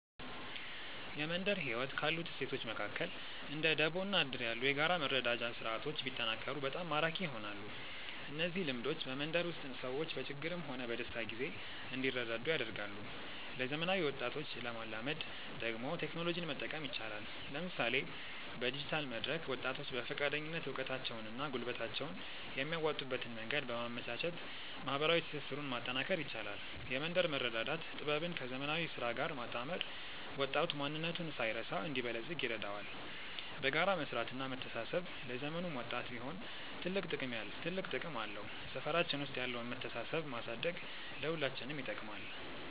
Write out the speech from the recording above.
የመንደር ህይወት ካሉት እሴቶች መካከል እንደ ደቦ እና እድር ያሉ የጋራ መረዳጃ ስርዓቶች ቢጠናከሩ በጣም ማራኪ ይሆናሉ። እነዚህ ልምዶች በመንደር ውስጥ ሰዎች በችግርም ሆነ በደስታ ጊዜ እንዲረዳዱ ያደርጋሉ። ለዘመናዊ ወጣቶች ለማላመድ ደግሞ ቴክኖሎጂን መጠቀም ይቻላል፤ ለምሳሌ በዲጂታል መድረክ ወጣቶች በፈቃደኝነት እውቀታቸውንና ጉልበታቸውን የሚያዋጡበትን መንገድ በማመቻቸት ማህበራዊ ትስስሩን ማጠናከር ይቻላል። የመንደር መረዳዳት ጥበብን ከዘመናዊ ስራ ጋር ማጣመር ወጣቱ ማንነቱን ሳይረሳ እንዲበለጽግ ይረዳዋል። በጋራ መስራትና መተሳሰብ ለዘመኑም ወጣት ቢሆን ትልቅ ጥቅም አለው። ሰፈራችን ውስጥ ያለውን መተሳሰብ ማሳደግ ለሁላችንም ይጠቅማል።